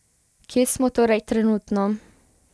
Kje smo torej trenutno?